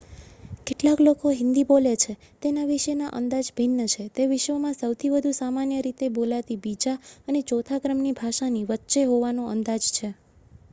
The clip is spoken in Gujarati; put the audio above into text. કેટલા લોકો હિન્દી બોલે છે તેના વિશેના અંદાજ ભિન્ન છે તે વિશ્વમાં સૌથી વધુ સામાન્ય રીતે બોલાતી બીજા અને ચોથા ક્રમની ભાષાની વચ્ચે હોવાનો અંદાજ છે